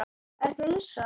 Ertu hissa?